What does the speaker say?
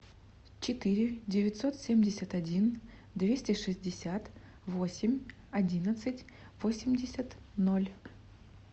четыре девятьсот семьдесят один двести шестьдесят восемь одиннадцать восемьдесят ноль